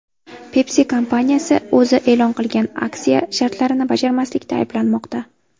Pepsi kompaniyasi o‘zi e’lon qilgan aksiya shartlarini bajarmaslikda ayblanmoqda.